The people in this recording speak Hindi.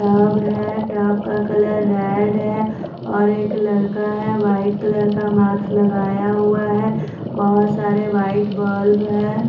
टब है टब का कलर रेड है और एक लड़का है व्हाइट कलर का माक्स लगाया हुआ है बहोत सारे व्हाइट बल्ब है।